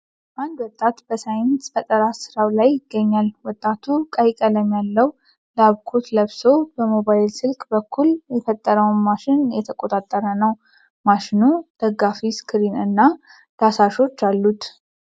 አንድ ወጣት በሳይንስ ፈጠራ ሥራው ላይ ይገኛል ። ወጣቱ ቀይ ቀለም ያለው ላብ ኮት ለብሶ በሞባይል ስልክ በኩል የፈጠረውን ማሽን እየተቆጣጠረ ነው። ማሽኑ ደጋፊ ፣ ስክሪን እና ዳሳሾች አሉት። ።